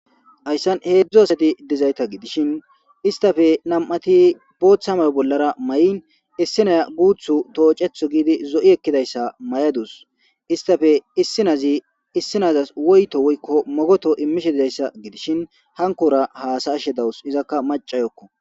Hayssan heedzdzu asati dizayta gidishin istafe nam'ati booththa mayo bollara ma'in issinay guuthu toocetho giidi zo'i ekkidayssa may'adus istafe issinazi issinazas woyto woykko mogoto immishe dizayssa gidishin hankora haasaashe dawus izakka macayokko.